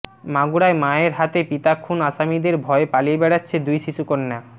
মাগুরায় মায়ের হাতে পিতা খুন আসামিদের ভয়ে পালিয়ে বেড়াচ্ছে দুই শিশুকন্যা